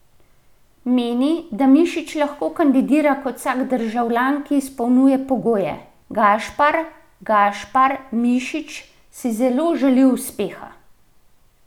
Meni, da Mišič lahko kandidira kot vsak državljan, ki izpolnjuje pogoje: "Gašpar Gašpar Mišič si zelo želi uspeha.